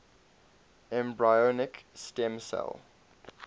embryonic stem cell